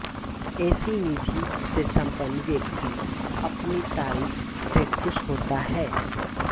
ऐसी निधि से संपन्न व्यक्ति अपनी तारीफ से खुश होता है